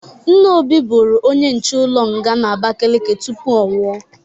Nna Obi bụrụ onye nche ụlọ nga n'Abakeleke tupu ọnwụ.